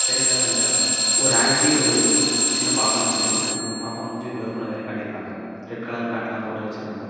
சைடுல ரெண்டு ஒரு ஆன்ட்டி ஒரு சின்ன பாப்பா நிக்குது அந்த பாப்பா மூஞ்ச பிளர் பண்ண மாரி காட்டி இருக்காங்க ரெட் கலர் மேட் லாம் போட்டு வச்சிருக்காங்க.